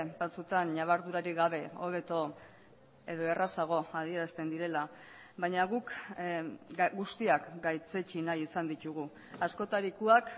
batzutan ñabardurarik gabe hobeto edo errazago adierazten direla baina guk guztiak gaitzetsi nahi izan ditugu askotarikoak